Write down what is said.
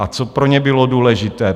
A co pro ně bylo důležité?